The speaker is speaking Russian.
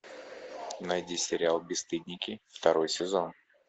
найди сериал бесстыдники второй сезон